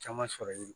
Caman sɔrɔlen don